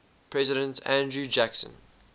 president andrew jackson